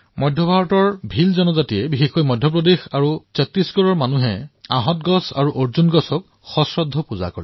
মধ্য ভাৰতৰ ভীল জনজাতিৰ মাজত বিশেষকৈ মধ্য প্ৰদেশ আৰু ছট্টিশগড়ত মানুহে বট গছ আৰু অৰ্জুন গছক শ্ৰদ্ধাৰে পূজা কৰে